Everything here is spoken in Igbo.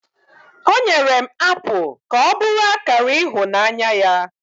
o nyere m apụl ka ọ bụrụ akara ịhụnanya ya